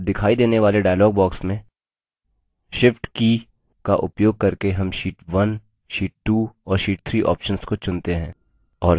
अब दिखाई देने वाले dialog box में shift की का उपयोग करके हम sheet 1 sheet 2 और sheet 2 options को चुनते हैं